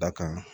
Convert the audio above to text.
Da kan